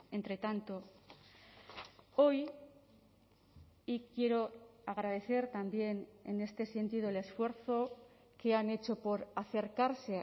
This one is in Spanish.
entre tanto hoy y quiero agradecer también en este sentido el esfuerzo que han hecho por acercarse